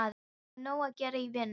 Nei, það er nóg að gera í vinnunni.